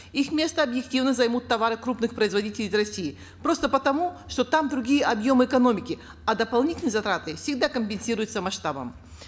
их место объективно займут товары крупных произодителей из россии просто потому что там другие объемы экономики а дополнительные затраты всегда компенсируются масштабом